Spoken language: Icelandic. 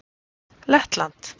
Lettland